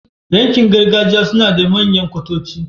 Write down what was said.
yankin gargajiya sunada manyan kwatoci